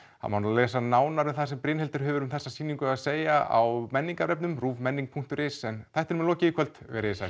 það má lesa nánar um það sem Brynhildur hefur um sýninguna að segja á menningarvefnum ruvmenning punktur is en þættinum er lokið í kvöld verið þið